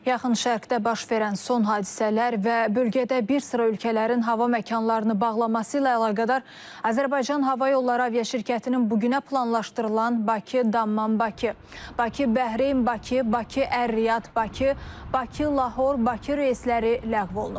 Yaxın Şərqdə baş verən son hadisələr və bölgədə bir sıra ölkələrin hava məkanlarını bağlaması ilə əlaqədar Azərbaycan Hava Yolları aviaşirkətinin bu günə planlaşdırılan Bakı-Dammam-Bakı, Bakı-Bəhreyn-Bakı, Bakı-Ər-Riyad-Bakı, Bakı-Lahor-Bakı reysləri ləğv olunub.